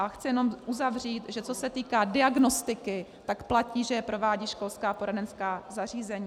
A chci jenom uzavřít, že co se týká diagnostiky, tak platí, že ji provádějí školská poradenská zařízení.